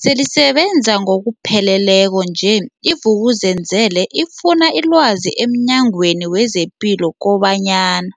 selisebenza ngokupheleleko nje, i-Vuk'uzenzele ifune ilwazi emNyangweni wezePilo kobanyana.